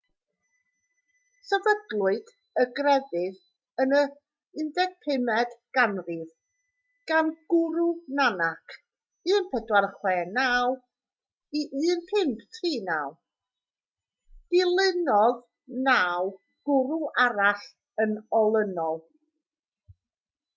sefydlwyd y grefydd yn y 15fed ganrif gan gwrw nanak 1469-1539. dilynodd naw gwrw arall yn olynol